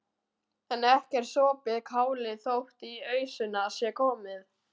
En ekki er sopið kálið þótt í ausuna sé komið.